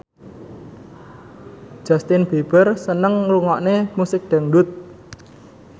Justin Beiber seneng ngrungokne musik dangdut